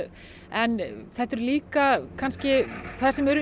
en líka þar sem eru